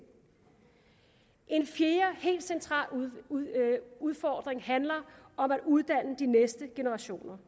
en fjerde helt central udfordring handler om at uddanne de næste generationer